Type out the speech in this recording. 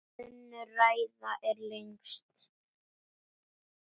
Önnur ræðan er lengst.